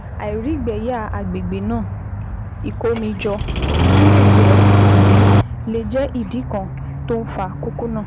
Àìrígbẹyà àgbègbè náà ìkómijọ tún lè jẹ́ ìdí lè jẹ́ ìdí kan tó ń fa kókó náà